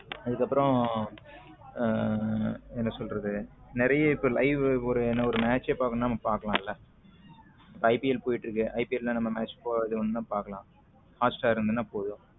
அதுக்கு அப்புறம் என்ன சொல்றது நிறைய இப்ப live ஒரு match பார்க்கணும்னா பார்க்கலாமா இப்ப ipl போயிட்டு இருக்கு ipl நம்ம match பாக்கனும்ன பார்க்கலாம் hotstar இருந்தா போதும்.